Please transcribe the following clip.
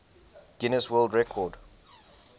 guinness world record